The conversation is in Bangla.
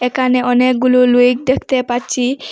একানে অনেকগুলো লুইক দেখতে পাচ্ছি।